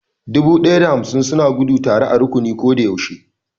Dubu ɗaya da hamsin suna gudu tare a rukuni ko da yaushe